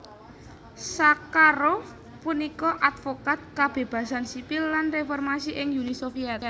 Sakharov punika advokat kabébasan sipil lan réformasi ing Uni Sovyèt